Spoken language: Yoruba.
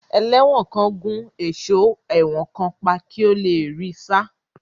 Ẹlẹ́wọ̀n kan gún ẹ̀sọ́ ẹ̀wọ̀n kan pa kí ó le rí í sá.